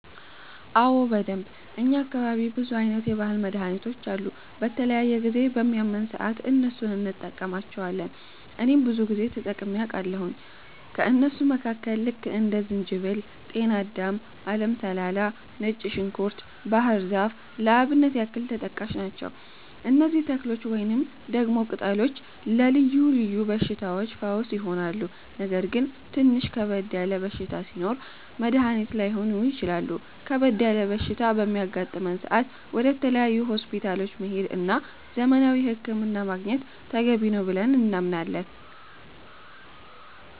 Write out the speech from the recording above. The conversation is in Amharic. አዎ በደንብ፣ እኛ አካባቢ ብዙ አይነት የባህል መድሀኒቶች አሉ። በተለያየ ጊዜ በሚያመን ሰአት እነሱን እንቀማለቸዋለን እኔም ብዙ ጊዜ ተጠቅሜ አቃለሁኝ። ከእነሱም መካከል ልክ እንደ ዝንጅበል፣ ጤናዳም፣ አለም ሰላላ፣ ነጭ ዝንኩርት፣ ባህር ዛፍ ለአብነት ያክል ተጠቃሽ ናቸው። እነዚህ ተክሎች ወይንም ደግሞ ቅጠሎች ለልዮ ልዮ በሽታዎች ፈውስ ይሆናሉ። ነገር ግን ትንሽ ከበድ ያለ በሽታ ሲኖር መድኒት ላይሆኑ ይችላሉ ከበድ ያለ በሽታ በሚያጋጥም ሰአት ወደ ተለያዩ ሆስፒታሎች መሄድ እና ዘመናዊ ህክምና ማግኘት ተገቢ ነው ብለን እናምናለን።